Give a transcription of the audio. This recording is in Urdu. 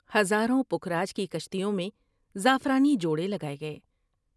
ہزاروں پکھراج کی کشتیوں میں زعفرانی جوڑے لگاۓ گئے ۔